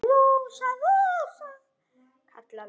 Rósa, Rósa, kallaði hann.